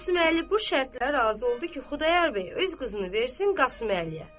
Qasım Əli bu şərtə razı oldu ki, Xudayar bəy öz qızını versin Qasım Əliyə.